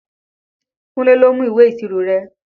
Kúnlé ló mú ìwé ìṣirò rẹ